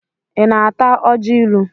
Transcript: Ị na-ata ọjị ilu?